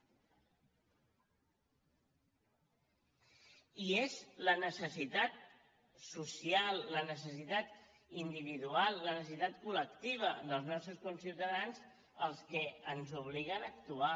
i són la necessitat social la necessitat individual la necessitat col·lectiva dels nostres conciutadans les que ens obliguen a actuar